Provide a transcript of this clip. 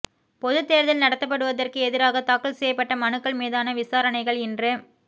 பொதுத்தேர்தல் நடத்தப்படுவதற்கு எதிராக தாக்கல் செய்யப்பட்ட மனுக்கள் மீதான விசாரணைகள் இன்று